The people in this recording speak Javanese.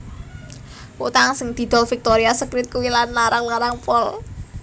Kutang sing didol Victoria Secret kuwi jan larang larang pol